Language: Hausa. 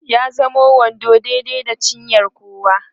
ya zamo wando daidai da cinyar kowa